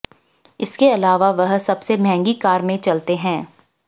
इसके अलावा वह सबसे महंगी कार में चलते हैं